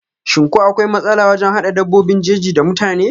shim ko akwai matsala wajen hada dabbobin jeji da mutane?